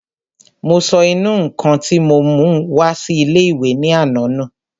Mo sọ ìnù-ǹkan tí mo mú wá sí ilé-ìwé ní àná nù